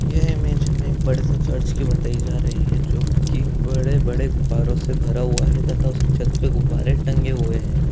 ये इमेज एक बड़े सी चर्च की बताई जा रही है जोकी बड़े-बड़े गुबारों से भरा हुआ है तथा उसके छत पे गुब्बारे टंगे हुए है।